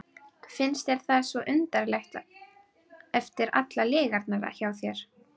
Finnst þér það svo undarlegt eftir allar lygarnar í þér?